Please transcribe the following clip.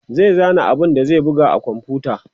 zai zana abun da zai buga a komfuta